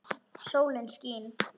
Sólin skín.